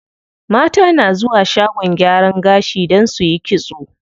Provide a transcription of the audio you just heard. Mata na zuwa shagon gyaran gashi don suyi kitso.